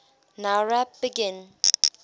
nowrap begin